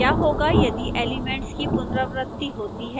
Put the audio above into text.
क्या होगा यदि एलिमेंट्स की पुनरावृति होती है